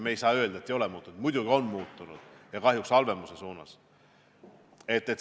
Me ei saa öelda, et ei ole muutunud, muidugi on muutunud, aga kahjuks halvemuse suunas.